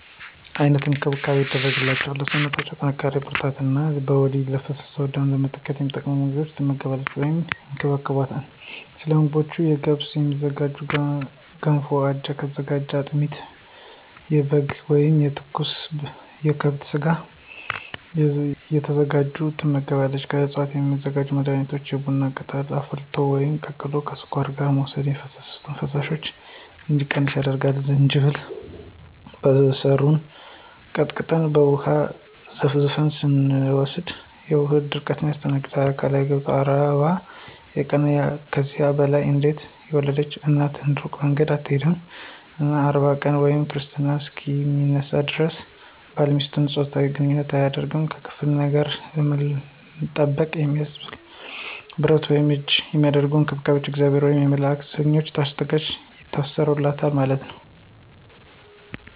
አይነት እንክብካቤ ይደረግላቸዋል ለሰውነቶ ጥንካሪ ብርራታት እነ በወሊድ የፈሰሰውን ደም ለመተካት የሚጠቅሙ ምግቦች ትመገባለች ወይም ይከባከቦታል። ሰለምግቦቹ ከገብስ የሚዝጋጁ ገንፎ ከአጃ የተዘጋጀ አጥሚት የበጋ ወይም የከብት ስጋ የዘጋጅላታል ትመገባለች። ከዕፅዋት የሚዘጋጁ መድኃኒቶች ውስጥ የቡና ቅጠልን አፍልቶ ወይም ቀቅሎ ከስኳር ጋር መውሰድ የሚፈሳት ፈሳሽ እንዲቀንስ ያደርጋል፣ ዝንጅብልን በሰሩን ቀጥቀጠን በውሃ ዘፍዝፈን ስትወስድ የሆድ ቁረጠትን ያስታገሳል። አካላዊ ገደብ 40 የቀንና ከዚያ በላይ አንዴት የወለድች እናት እሩቅ መንገድ አትሆድም እና 40 ቀን ወይም ክርስትና እሰከ ሚነሳ ደረስ ባልና ሚስት ጾታዊ ግንኝነት አይቻልም። ከክፍለ ነገር ለመጠበቅ የሚደረገው ብረት ወይም ከእጅ የሚደረጉ አንባሮች የእግዚአብሔር ወየም የመላእክት ሰሞች ታሽገው ይታሰሩለታል ማለት ነው።